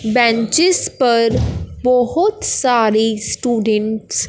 benches पर बहुत सारी स्टूडेंट्स --